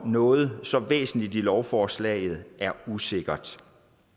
noget så væsentligt i lovforslaget er usikkert